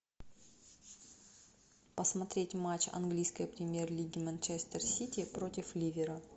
посмотреть матч английской премьер лиги манчестер сити против ливера